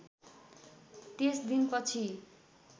त्यस दिनपछि